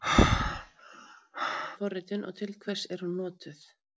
Hvað er hlutbundin forritun og til hvers er hún notuð?